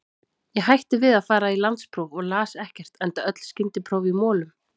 Ég hætti við að fara í landspróf og las ekkert, enda öll skyndipróf í molum.